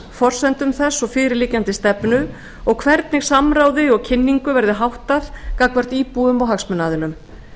forsendum þess og fyrirliggjandi stefnu og hvernig samráði og kynningu verði háttað gagnvart íbúum og hagsmunaaðilum